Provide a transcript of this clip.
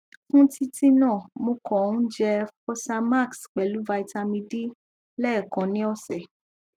fún títí náà mo kàn ń jẹ fosamax pelu vitamin d lẹẹkan ni ọsẹ